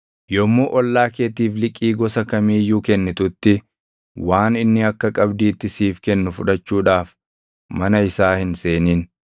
Yommuu ollaa keetiif liqii gosa kamii iyyuu kennitutti waan inni akka qabdiitti siif kennu fudhachuudhaaf mana isaa hin seenin.